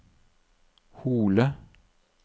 Hole